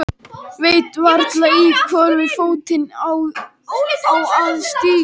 Veit varla í hvorn fótinn ég á að stíga.